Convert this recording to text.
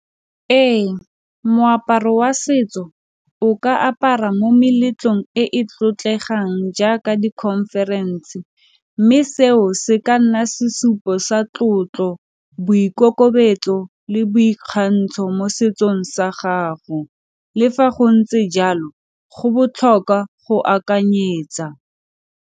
Ee moaparo wa setso o ka apara mo meletlong e e tlotlegang jaaka di-conference mme seo se ka nna sesupo sa sa tlotlo, boikokobetso le boikgantsho mo setsong sa gago le fa go ntse jalo go botlhokwa go akanyetsa.